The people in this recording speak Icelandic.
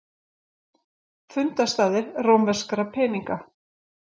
Fundarstaðir rómverskra peninga.